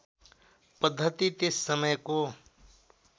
पद्धति त्यस समयको